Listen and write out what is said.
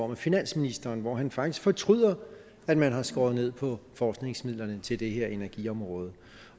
med finansministeren hvor han faktisk fortryder at man har skåret ned på forskningsmidlerne til det her energiområde